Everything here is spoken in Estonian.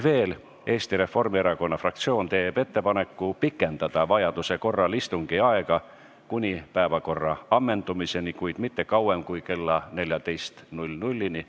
Veel, Eesti Reformierakonna fraktsioon teeb ettepaneku pikendada vajaduse korral istungi aega kuni päevakorra ammendumiseni, kuid mitte kauem kui kella 14-ni.